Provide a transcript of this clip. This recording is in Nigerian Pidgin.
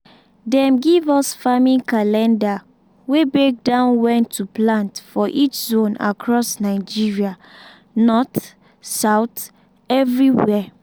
dem give us farming calendar wey break down when to plant for each zone across nigeria — north south anywhere.